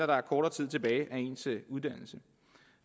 der er kortere tid tilbage af ens uddannelse